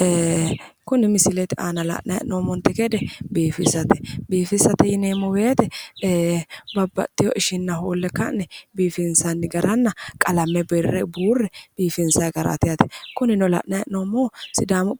Eee, kuni misilete aana la'nanni hee'noommonte gede biifisate, biiffisate yineemmo woyte babbaxewo ishinna hoole ka'ne qalame buure ka'ne biifisate kunino afamanohu sidaamu